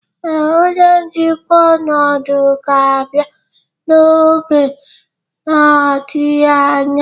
Ee, onye njikwa ọnọdụ ga-abịa n'oge adịghị anya